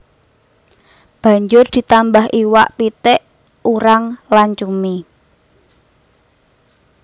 Banjur ditambah iwak pitik urang lan cumi